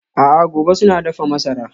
A'a gobe suna dafa masara.